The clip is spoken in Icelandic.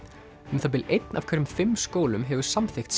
um það bil einn af hverjum fimm skólum hefur samþykkt